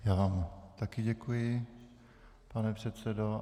Já vám také děkuji, pane předsedo.